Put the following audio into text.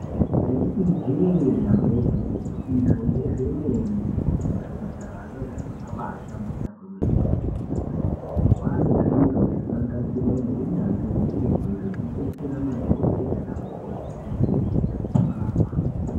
Ndaiti Ije damba igwinyiso izvo ndezve mene kuti kuzvipatarayo zviro zvakaba hlamburika kwemene mazuva ano nemazuva anyamashi kwane zviro zvakagadzirwa nehunyanzvi ukurutu zvekudetsera madhokodheya nana mukoti kuvheneka nekurapa.